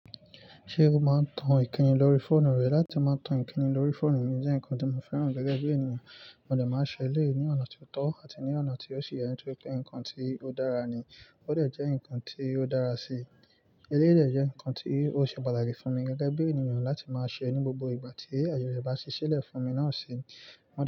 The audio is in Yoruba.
Ṣé o máa ń tan ìkíni lórí fóònù rẹ? Láti máa tan ìkíni lórí fóònù mi jẹ́ nǹkan tó máa ń fẹ́ràn gẹ́gẹ́ bí ènìyàn, mo de máa ṣẹlẹ̀ ní ọ̀nà tó tọ́ àti ní ọ̀nà tí ó sì yẹ nítorí pé nǹkan tí ó dára ni. Ó dè jẹ́ nǹkan tí ó dára sí i. Elé'dé jẹ́ nǹkan tí ó ṣe pàtàkì fún mi gẹ́gẹ́ bí ènìyàn láti máa ṣe ní gbogbo ìgbà tí àjọyọ̀ bá ṣiṣẹ́ lẹ̀ fún mi náà ṣe.